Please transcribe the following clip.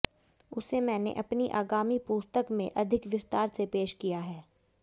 उसे मैंने अपनी आगामी पुस्तक में अधिक विस्तार से पेश किया है